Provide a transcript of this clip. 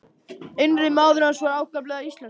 Innri maður hans var ákaflega íslenskur.